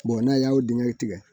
n'a y'o dingɛ tigɛ